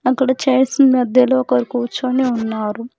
అక్కడికి చైర్స్ కి మధ్యలో ఒకరు కూర్చుని ఉన్నారు.